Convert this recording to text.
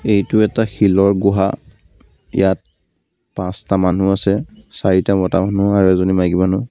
এইটো এটা শিলৰ গুহা. ইয়াত পাঁচটা মানুহ আছে চাৰিটা মতা মানুহ এজনী মাইকী মানুহ.